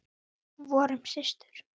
Vorum systur.